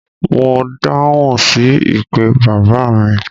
Mo dáhùn sí ìpè bàbá mi.